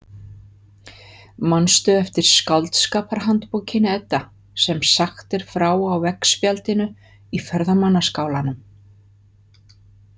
Manstu eftir skáldskaparhandbókinni, Edda, sem sagt er frá á veggspjaldinu í ferðamannaskálanum?